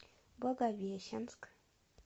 благовещенск